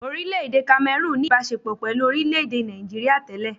Orílẹ-èdè Cameroon ní ìbaṣepọ̀ pẹ̀lú orílẹ̀-èdè Nigeria tẹ́lẹ̀.